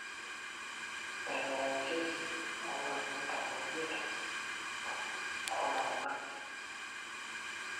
eneitanyanyuki o katitin tomon oimiet tooltung'anak ip